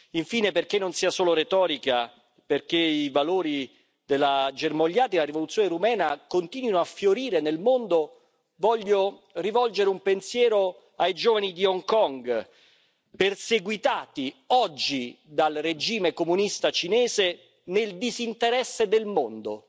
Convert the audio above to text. Infine, perché non sia solo retorica, perché i valori germogliati dalla rivoluzione rumena continuino a fiorire nel mondo, voglio rivolgere un pensiero ai giovani di Hong Kong, perseguitati oggi dal regime comunista cinese nel disinteresse del mondo.